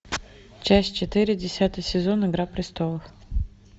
часть четыре десятый сезон игра престолов